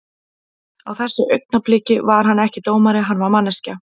Á þessu augnabliki var hann ekki dómari, hann var manneskja.